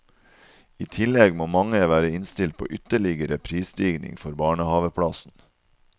I tillegg må mange være innstilt på ytterligere prisstigning for barnehaveplassen.